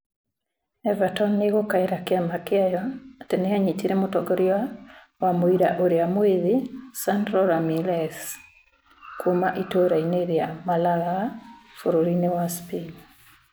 Everton nĩ ĩgũkaĩra kĩama gĩayo atĩ nĩ yanyitire mũtongoria wa mũira ũrĩa mwĩthĩ Sandro Ramirez kuuma itũũra-inĩ rĩa Malaga bũrũri-inĩ wa Spain.